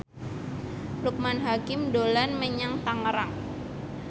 Loekman Hakim dolan menyang Tangerang